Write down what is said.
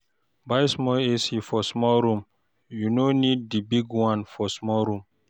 Buy small AC for small room, you no need di big one for small room